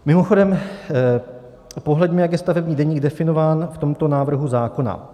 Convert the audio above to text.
Mimochodem, pohleďme, jak je stavební deník definován v tomto návrhu zákona.